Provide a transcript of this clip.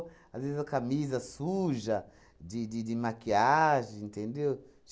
Às vezes, a camisa suja de de de maquiagem, entendeu?